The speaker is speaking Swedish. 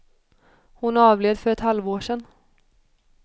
Hon avled för ett halvår sedan.